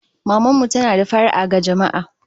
Maman mu tana da fara'a ga jama'a